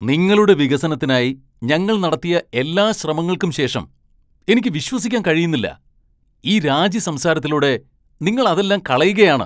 നിങ്ങളുടെ വികസനത്തിനായി ഞങ്ങൾ നടത്തിയ എല്ലാ ശ്രമങ്ങൾക്കും ശേഷം, എനിക്ക് വിശ്വസിക്കാൻ കഴിയുന്നില്ല, ഈ രാജി സംസാരത്തിലൂടെ നിങ്ങൾ അതെല്ലാം കളയുകയാണ്.